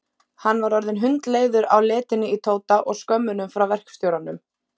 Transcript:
Hann var orðinn hundleiður á letinni í Tóta og skömmunum frá verkstjóranum.